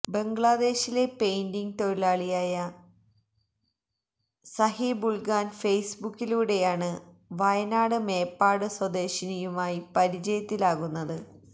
ബംഗ്ലാദേശിലെ പെയിന്റിങ് തൊഴിലാളിയായ സഹീബുള്ഖാന് ഫേയ്സ്ബുക്കിലൂടെയാണ് വയനാട് മേപ്പാട് സ്വദേശിനിയുമായി പരിചയത്തിലാകുന്നത്